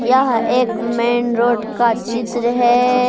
यह एक main road का चित्र है।